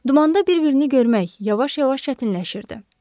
Dumanda bir-birini görmək yavaş-yavaş çətinləşirdi.